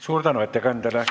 Suur aitäh ettekandjale!